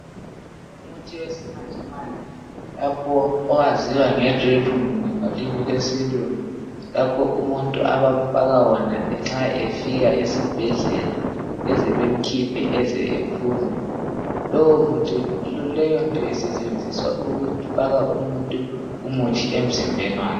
Umuthi owesimanjemanje lapho owaziwa nge drip ngolimi lwesilungu, lapha umuntu abamfaka wona nxa efika esibhedlela eze bemkhiphe eze ephuma. Leyonto isetshenziswa ukufaka umuntu umuthi emzimbeni wakhe.